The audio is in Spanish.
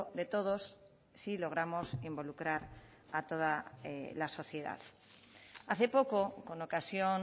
de todos si logramos involucrar a toda la sociedad hace poco con ocasión